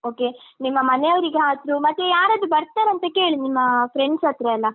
Okay ನಿಮ್ಮ ಮನೆಯವರಿಗಾದ್ರು ಮತ್ತೆ ಯಾರಾದ್ರು ಬರ್ತಾರ ಅಂತ ಕೇಳಿ ನಿಮ್ಮಾ friends ಹತ್ರ ಎಲ್ಲ.